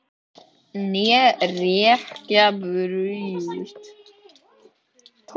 Né hrekja í burt!